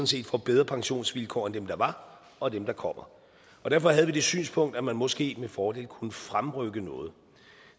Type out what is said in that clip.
set får bedre pensionsvilkår end dem der var og dem der kommer og derfor havde vi det synspunkt at man måske med fordel kunne fremrykke noget